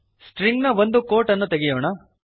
stringನ ಒಂದು ಕ್ವೋಟ್ಸ್ ಅನ್ನು ತೆಗೆಯೋಣ